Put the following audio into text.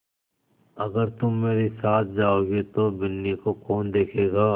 अगर तुम मेरे साथ जाओगे तो बिन्नी को कौन देखेगा